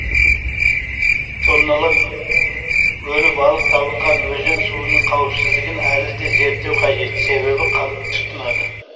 тонналап өлі балық табылған өзен суының қауіпсіздігін әлі де зерттеу қажет себебі халық тұтынады